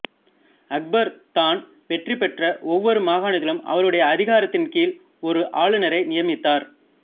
அக்பர் தான் வெற்றி பெற்ற ஒவ்வொரு மாகாணத்திலும் அவருடைய அதிகாரத்தின் கீழ் ஒரு ஆளுனரை நியமித்தார்